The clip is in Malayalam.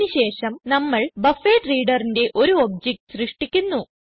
അതിന് ശേഷം നമ്മൾ BufferedReaderന്റെ ഒരു ഒബ്ജക്റ്റ് സൃഷ്ടിക്കുന്നു